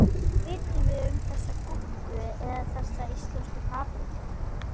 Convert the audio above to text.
Hvað vitum við um þessa gúrku eða þessar íslensku paprikur?